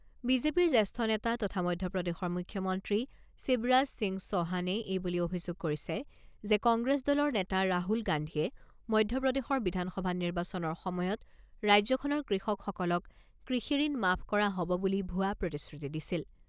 বিজেপিৰ জ্যেষ্ঠ নেতা তথা মধ্যপ্ৰদেশৰ মুখ্যমন্ত্ৰী শিৱৰাজ সিং চৌহানে এইবুলি অভিযোগ কৰিছে যে কংগ্ৰেছ দলৰ নেতা ৰাহুল গান্ধীয়ে মধ্যপ্ৰদেশৰ বিধানসভা নিৰ্বাচনৰ সময়ত ৰাজ্যখনৰ কৃষকসকলক কৃষি ঋণ মাফ কৰা হব বুলি ভুৱা প্ৰতিশ্ৰুতি দিছিল।